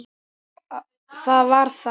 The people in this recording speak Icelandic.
Það var þá.